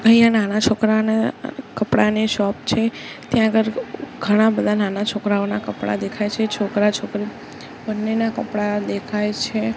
અહિંયા નાના છોકરાના કપડાની શૉપ છે ત્યાં આગળ ઘણાંબધા નાના છોકરાઓનાં કપડા દેખાય છે છોકરા છોકરી બંનેના કપડા દેખાય છે.